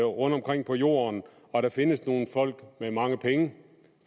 rundtomkring på jorden og der findes nogle folk med mange penge